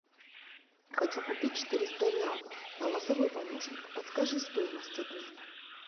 хочу купить четыреста реалов голосовой помощник подскажи стоимость обмена